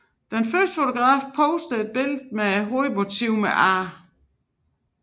Den første fotograf poster et billede med hovedmotiver med A